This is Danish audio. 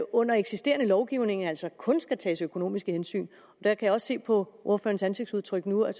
under eksisterende lovgivning altså kun skal tages økonomiske hensyn jeg kan se på ordførerens ansigtsudtryk nu at